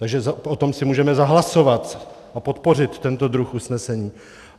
Takže o tom si můžeme zahlasovat a podpořit tento druh usnesení.